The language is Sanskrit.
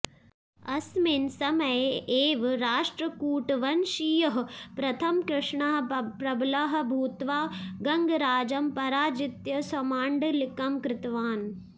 अस्मिन् समये एव राष्ट्रकूटवंशीयः प्रथमकृष्णः प्रबलः भूत्वा गङ्गराजम् पराजित्य स्वमाण्डलिकम् कृतवान्